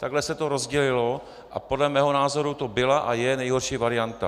Takhle se to rozdělilo a podle mého názoru to byla a je nejhorší varianta.